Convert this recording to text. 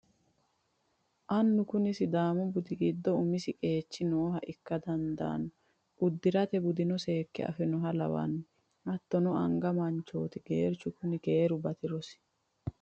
Annu kuni sidaamu budi giddo umisi qeechi nooha ikka dandaano uddirate budeno seekke Afinoha lawano hattono anga manchoti geerchu kuni keeru batirosi.